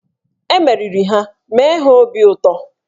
E meriri ha, mee ha obi ụtọ!